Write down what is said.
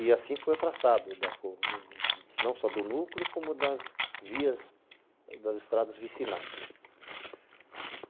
E assim foi traçado, não só do núcleo, como das vias, das estradas vicinais.